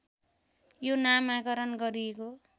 यो नामाकरण गरिएको